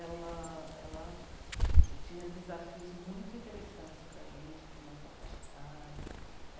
Ela, ela tinha desafios muito interessantes para a gente, para a nossa faixa etária.